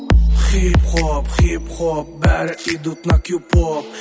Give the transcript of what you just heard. хип хоп хип хоп бәрі идут на кюп оп